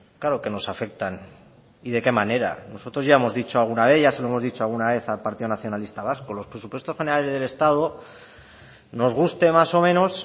claro que nos afectan y de qué manera nosotros ya hemos dicho alguna vez ya se lo hemos dicho alguna vez al partido nacionalista vasco los presupuestos generales del estado nos guste más o menos